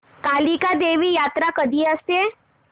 कालिका देवी यात्रा कधी असते